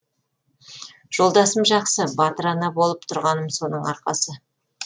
жолдасым жақсы батыр ана болып тұрғаным соның арқасы